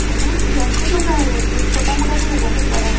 बहुत भयंकर लग रहा है ये फील्ड छोटा मोटा नहीं है बहुत बड़ा है |